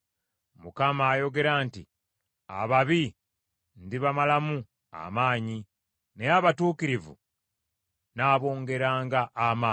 Mukama ayogera nti, Ababi ndibamalamu amaanyi, naye abatuukirivu nnaabongeranga amaanyi.